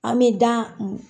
An be gan mun